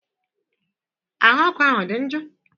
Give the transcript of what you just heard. Ahụ ọkụ ahụ ọ dị njọ?